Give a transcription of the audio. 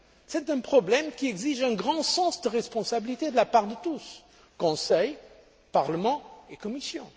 C'est un problème qui exige un grand sens des responsabilités de la part de tous Conseil, Parlement et Commission.